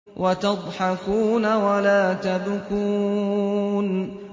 وَتَضْحَكُونَ وَلَا تَبْكُونَ